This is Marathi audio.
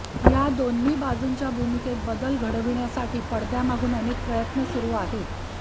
या दोन्ही बाजूंच्या भूमिकेत बदल घडविण्यासाठी पडद्यामागून अनेक प्रयत्न सुरू आहेत